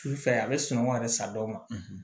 Su fɛ a bɛ sunɔgɔ yɛrɛ sa dɔw ma